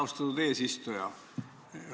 Austatud eesistuja!